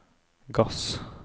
gass